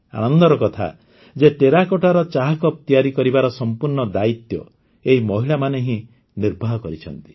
ଆନନ୍ଦର କଥା ଯେ ଟେରାକୋଟ୍ଟାର ଚାକପ୍ ତିଆରି କରିବାର ସମ୍ପୂର୍ଣ୍ଣ ଦାୟିତ୍ୱ ଏହି ମହିଳାମାନେ ହିଁ ନିର୍ବାହ କରିଛନ୍ତି